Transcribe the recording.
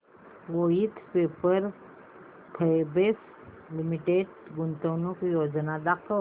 Voith Paper Fabrics Limited गुंतवणूक योजना दाखव